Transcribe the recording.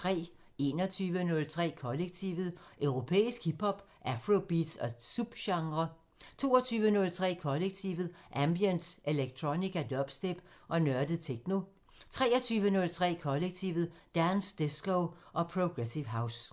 21:03: Kollektivet: Europæisk hip hop, afrobeats og subgenrer 22:03: Kollektivet: Ambient, electronica, dubstep og nørdet techno 23:03: Kollektivet: Dance, disco og progressive house